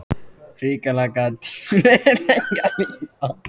Hrikalega gat tíminn verið lengi að líða.